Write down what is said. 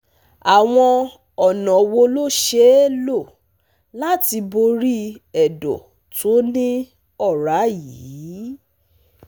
àwọn ọ̀nà wo ló ṣeé lò láti borí ẹ̀dọ́ tó ní ọrá yìí?